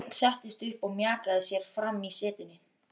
Björn settist upp og mjakaði sér fram í setinu.